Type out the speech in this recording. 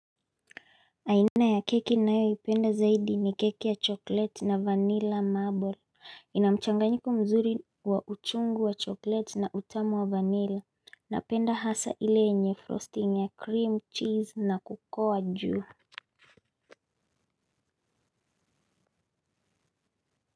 Aina ya keki ninayo ipenda zaidi ni keki ya chokleti na vanilla marble. Inamchanganyiko mzuri wa uchungu wa chokleti na utamu wa vanilla. Napenda hasa ile yenye frosting ya cream cheese na kukoa juu.